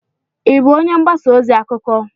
ị bụ onye mgbasa ozi? akụkọ?